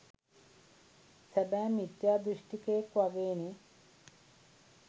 සැබෑ මිත්‍යා දෘෂ්ටිකයෙක් වගේනේ